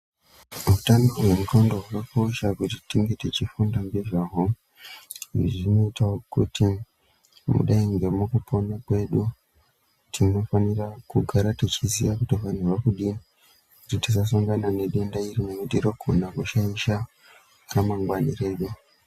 Hutano hwe ndxondo huno kosha kuti tinge tichi funda nge zvahwo izvi zvino itawo kuti mukudai nge muku pona kwedu tino fanira kugara techi ziya kuti vanhu vari kudini kuti tisa sangana ne denda iro nekuti rino gona kushaisha ra mangwani redu.